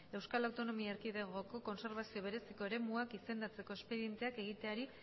euskal autonomia erkidegoko kbeak kontserbazio bereziko eremuak izendatzeko espedienteak egiteari